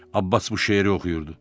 Abbas bu şeiri oxuyurdu.